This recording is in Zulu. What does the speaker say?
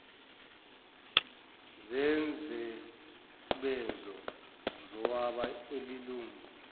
zensebenzo zowabe elilungu